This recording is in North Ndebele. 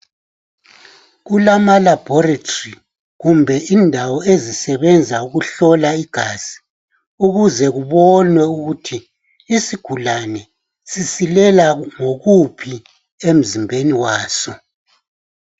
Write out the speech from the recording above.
Kulama labholitholi, kumbe indawo ezisebenza ukuhlola igazi, kuze kubonwe ukuthi isigulane sisilela ngokuphi emzimbeni waso.